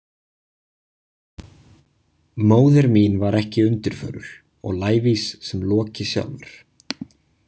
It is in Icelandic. Móðir mín var ekki undirförul og lævís sem Loki sjálfur.